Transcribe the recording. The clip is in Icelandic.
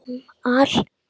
Gamla ógeð!